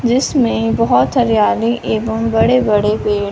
जिसमें बहोत हरियाली एवं बड़े बड़े पेड़--